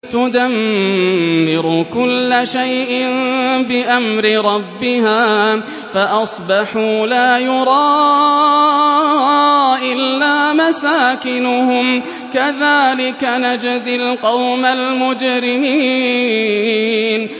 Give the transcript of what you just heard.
تُدَمِّرُ كُلَّ شَيْءٍ بِأَمْرِ رَبِّهَا فَأَصْبَحُوا لَا يُرَىٰ إِلَّا مَسَاكِنُهُمْ ۚ كَذَٰلِكَ نَجْزِي الْقَوْمَ الْمُجْرِمِينَ